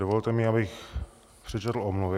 Dovolte mi, abych přečetl omluvy.